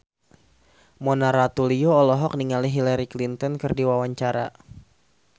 Mona Ratuliu olohok ningali Hillary Clinton keur diwawancara